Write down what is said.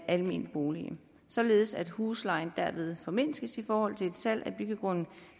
almene boliger således at huslejen derved formindskes i forhold til salg af byggegrunden